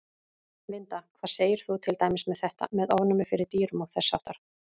Linda: Hvað segir þú til dæmis með þetta, með ofnæmi fyrir dýrum og þess háttar?